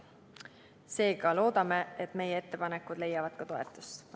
Seega loodame, et meie ettepanekud leiavad toetust.